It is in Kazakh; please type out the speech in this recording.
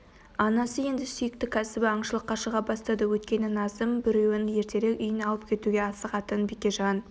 анасы енді сүйікті кәсібі аңшылыққа шыға бастады өйткені назым біреуін ертерек үйіне алып кетуге асығатын бекежан